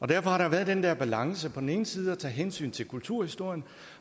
derfor har der været den der balance med på den ene side at tage hensyn til kulturhistorien